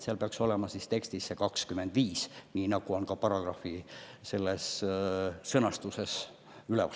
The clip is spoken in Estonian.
Seal peaks olema tekstis 2025, nii nagu on ka paragrahvi pealkirjas üleval.